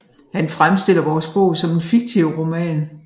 Han fremstiller vores bog som en fiktiv roman